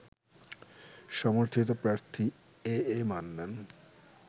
সমর্থিত প্রার্থী A A Mannan